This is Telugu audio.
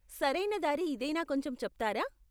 సరయిన దారి ఇదేనా కొంచెం చెప్తారా?